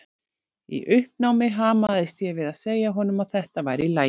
Í uppnámi hamaðist ég við að segja honum að þetta væri í lagi.